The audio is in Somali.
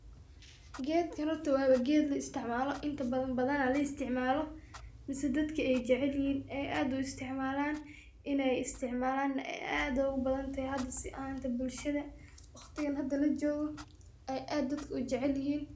Geedkan horta waa ba geed la isticmaalo inta badan badanaa la isticmaalo mise dadka ay jecelyihin ay aad u isticmaalan inay isticmaalaane ay aad ogu badanatahe hada si ahanta bulshada waqtigan hada lojoogo ay aad dadka u jecelyihiin.